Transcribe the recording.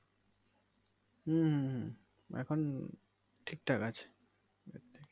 হম হম হম এখন ঠিকঠাক আছে আগের থেকে